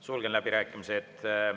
Sulgen läbirääkimised.